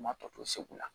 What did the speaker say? Ma tɔ to segu la